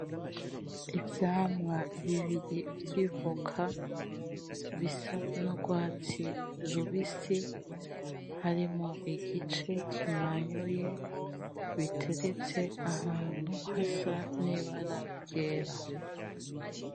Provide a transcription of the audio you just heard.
Ivyamwa bibiri vy'Ivoka, bisa n'ugwatsi rubisi harimwo igice kimanyuye, biteretse ahantu hasa n'Ibara ryera.